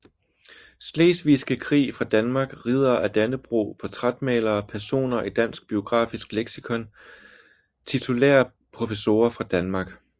Slesvigske Krig fra Danmark Riddere af Dannebrog Portrætmalere Personer i Dansk Biografisk Leksikon Titulære professorer fra Danmark